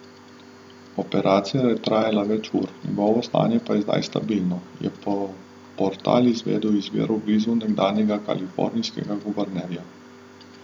Operacija je trajala več ur, njegovo stanje pa je zdaj stabilno, je portal izvedel iz virov blizu nekdanjega kalifornijskega guvernerja.